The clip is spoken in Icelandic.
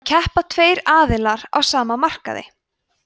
þá keppa tveir aðilar á sama markaði